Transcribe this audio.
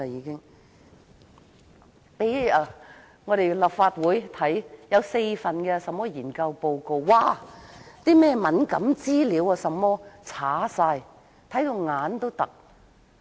政府向立法會提供4份研究報告，卻把敏感資料全部刪除，令人憤怒。